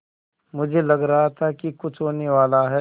मुझे लग रहा था कि कुछ होनेवाला है